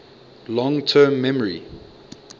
long term memory